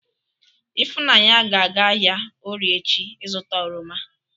Ifunanya ga-aga ahia Orie echi izuta oroma.